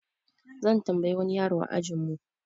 Zan tambaye wani yaro a ajin mu.